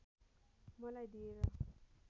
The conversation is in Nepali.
मलाई दिएर